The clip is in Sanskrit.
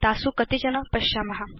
तासु कतिचन पश्याम